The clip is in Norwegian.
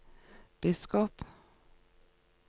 biskop